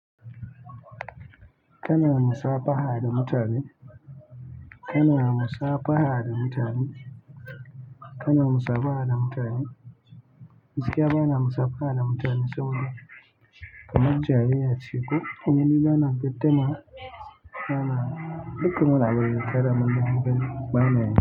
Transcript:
Kana musabaha da mutane. Kana musabaha da mutane. Kana musabaha da mutane. Gaskiya bana musabaha da mutane saboda kamar jariri ya ciko. Eh ni bana gaddama bana duk wani abu da zai tada min hankali banayi.